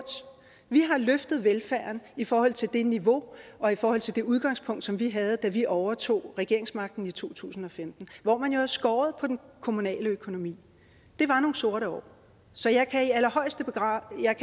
vi har løftet velfærden i forhold til det niveau og i forhold til det udgangspunkt som vi havde da vi overtog regeringsmagten i to tusind og femten hvor man jo havde skåret på den kommunale økonomi det var nogle sorte år så jeg kan i allerhøjeste grad